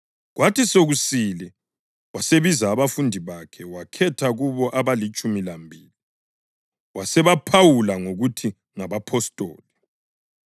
Kwathi sokusile wasebiza abafundi bakhe wakhetha kubo abalitshumi lambili, wasebaphawula ngokuthi ngabapostoli: